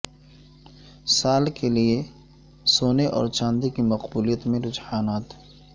سال کے لئے سونے اور چاندی کی مقبولیت میں رجحانات